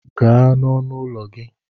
Gaa n'ọnụ ụlọ gị!